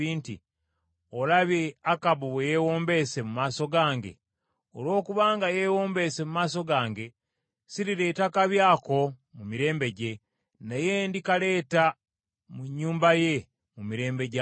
“Olabye Akabu bwe yeewombeese mu maaso gange? Olw’okubanga yeewombeese mu maaso gange, sirireeta kabi ako mu mirembe gye, naye ndikaleeta mu nnyumba ye mu mirembe gya mutabani we.”